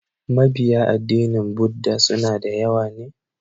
Mabiya addinin Budda suna da yawa ne?